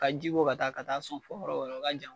Ka jibo ka taa ka taa sɔn o ka jan.